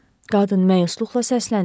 Qadın məyusluqla səsləndi.